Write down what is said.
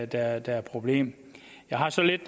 der er der er problemet jeg har så lidt